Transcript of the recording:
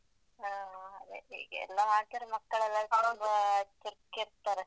ಹ ಅದೇ ಈಗಾಯೆಲ್ಲ ಮಾಡ್ತಾರೆ ಮಕ್ಕಳೇಲ್ಲಾ ಸೇರಿ ತುಂಬಾ ಚುರ್ಕ್ ಇರ್ತರೆ.